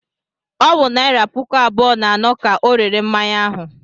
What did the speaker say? Ọ wụ naịra puku abụọ na anọ ka ọ rere mmanya ahụ.